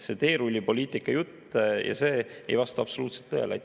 See teerullipoliitika jutt ei vasta absoluutselt tõele.